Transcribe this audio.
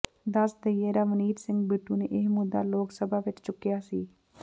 ਦੱਸ ਦਈਏ ਰਵਨੀਤ ਸਿੰਘ ਬਿੱਟੂ ਨੇ ਇਹ ਮੁੱਦਾ ਲੋਕ ਸਭਾ ਵਿਚ ਚੁੱਕਿਆ ਸੀ